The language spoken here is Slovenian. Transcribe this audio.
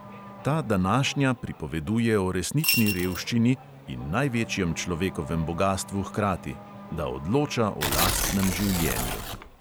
Ta današnja pripoveduje o resnični revščini in največjem človekovem bogastvu hkrati – da odloča o lastnem življenju.